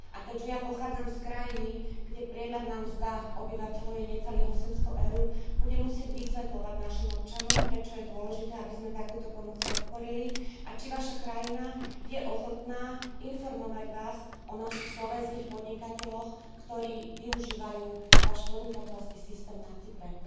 A keďže ja pochádzam z krajiny, kde priemerná mzda obyvateľov je necelých 800 eur, budem musieť vysvetľovať našim občanom, prečo je dôležité, aby sme takúto pomoc podporili, a či Vaša krajina je ochotná informovať Vás o našich slovenských podnikateľoch, ktorí využívajú Váš podnikateľský systém na Cypre.